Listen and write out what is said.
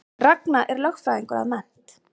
Ragna er lögfræðingur að mennt